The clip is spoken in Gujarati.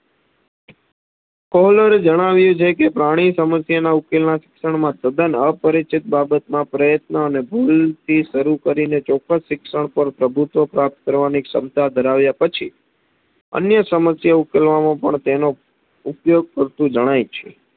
અન્ય સમસ્યા ઉકેલવામાં પણ તેનો ઉપયોગ કરતુ જણાય છે.